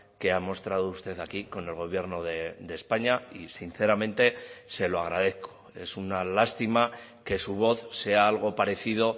que ha mostrado usted aquí con el gobierno de españa y sinceramente se lo agradezco es una lástima que su voz sea algo parecido